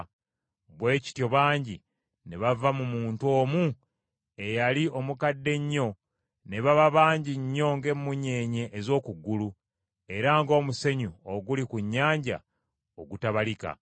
Bwe kityo bangi ne bava mu muntu omu eyali omukadde ennyo ne baba bangi nnyo ng’emmunyeenye ez’oku ggulu, era ng’omusenyu oguli ku nnyanja ogutabalika.